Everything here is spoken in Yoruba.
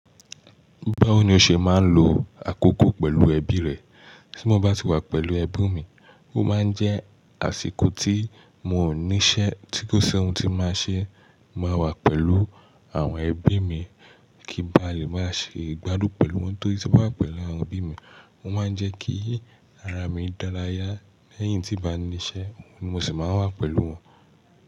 Báwo ni o ṣe máa ń lo àkókò pẹ̀lú ẹbí rẹ? Tí mo bá ti wà pẹ̀lú ẹbí mi, ó máa ń jẹ́ àsìkò tí mo níṣẹ́, tí kò sí ohun tí máa ṣe, mo máa wà pẹ̀lú àwọn ẹbí mi kí ba lè máa ṣe ìgbádùn pẹ̀lú wọn. Torí tí mo bá wà pẹ̀lú àwọn ẹbí mi, o máa ń jẹ́ kí ara mi dára yá. Lẹ́yìn tí mo bá níṣe, mo ṣì máa wà pẹ̀lú wọn.